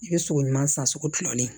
I bɛ sogo ɲuman san sugu kilalen